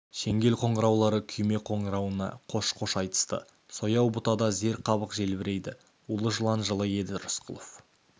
шеңгел қоңыраулары күйме қоңырауына қош-қош айтысты сояу бұтада зер қабық желбірейді улы жылан жылы еді рысқұлов